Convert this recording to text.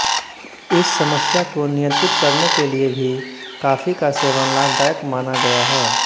इस समस्या को नियंत्रित करने के लिए भी काफी का सेवन लाभदायक माना गया है